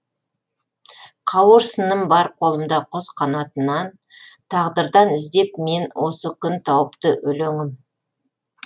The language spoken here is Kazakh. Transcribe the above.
қауырсыным бар қолымда құс қанатынан тағдырдан іздеп мен осы күн тауыпты өлеңім